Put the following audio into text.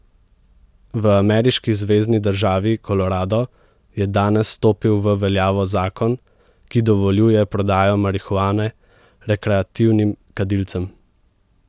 V ameriški zvezni državi Kolorado je danes stopil v veljavo zakon, ki dovoljuje prodajo marihuane rekreativnim kadilcem.